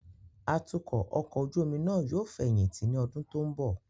Atukọ ọkọ ojú omi nàa yóò feyinti ni ọdun to nbo